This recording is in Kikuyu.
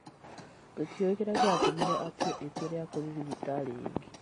Tũtiũĩ kĩrĩa gĩatũmire atue itua rĩa kũthiĩ thibitarĩ ĩngĩ.